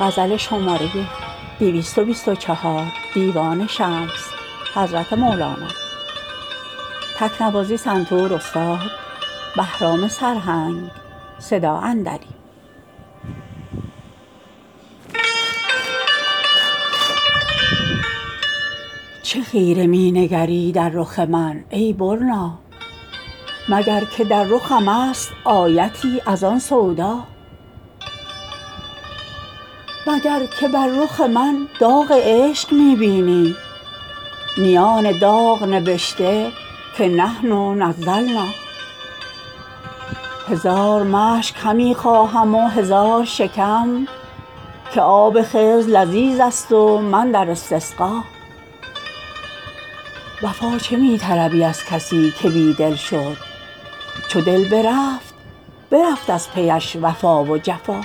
چه خیره می نگری در رخ من ای برنا مگر که در رخمست آیتی از آن سودا مگر که بر رخ من داغ عشق می بینی میان داغ نبشته که نحن نزلنا هزار مشک همی خواهم و هزار شکم که آب خضر لذیذست و من در استسقا وفا چه می طلبی از کسی که بی دل شد چو دل برفت برفت از پیش وفا و جفا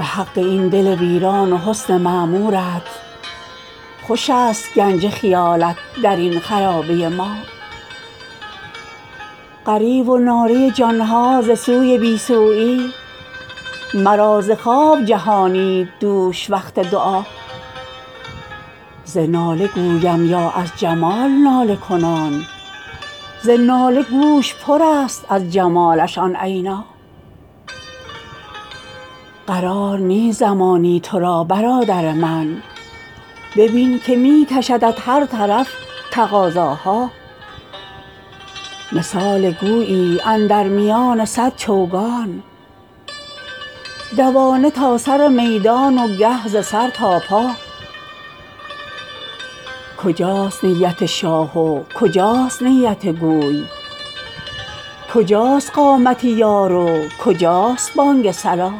به حق این دل ویران و حسن معمورت خوش است گنج خیالت در این خرابه ما غریو و ناله جان ها ز سوی بی سویی مرا ز خواب جهانید دوش وقت دعا ز ناله گویم یا از جمال ناله کنان ز ناله گوش پرست از جمالش آن عینا قرار نیست زمانی تو را برادر من ببین که می کشدت هر طرف تقاضاها مثال گویی اندر میان صد چوگان دوانه تا سر میدان و گه ز سر تا پا کجاست نیت شاه و کجاست نیت گوی کجاست قامت یار و کجاست بانگ صلا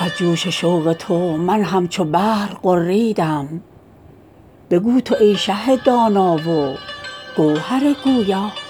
ز جوش شوق تو من همچو بحر غریدم بگو تو ای شه دانا و گوهر دریا